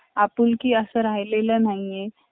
आपुलकी असं राहिलेलं नाही आहे